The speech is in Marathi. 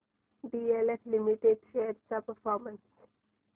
डीएलएफ लिमिटेड शेअर्स चा परफॉर्मन्स